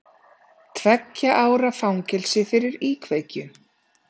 Tveggja ára fangelsi fyrir íkveikju